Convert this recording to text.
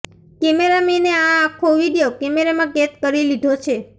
કેમેરામેને આ આખો વીડિયો કેમેરામાં કેદ કરી લીધો છે